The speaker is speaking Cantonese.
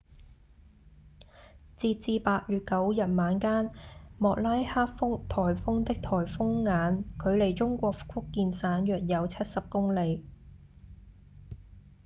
截至8月9日晚間莫拉克颱風的颱風眼距離中國福建省約有七十公里